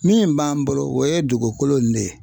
Min b'an bolo o ye dugukolo in de ye